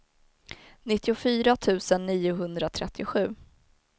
nittiofyra tusen niohundratrettiosju